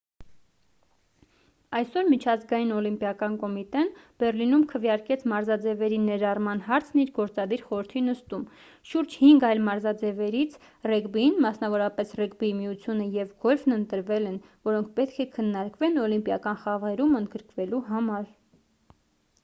այսօր միջազգային օլիմպիական կոմիտեն բեռլինում քվեարկեց մարզաձևերի ներառման հարցն իր գործադիր խորհրդի նիստում շուրջ հինգ այլ մարզաձևերից ռեգբին մասնավորապես ռեգբիի միությունը և գոլֆն ընտրվել են որոնք պետք է քննարկվեն օլիմպիական խաղերում ընդգրկվելու համար